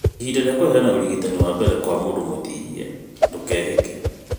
Ihinda rĩa kũheana ũrigitani wa mbere kwa mũndũ mũtihie, ndũkehĩke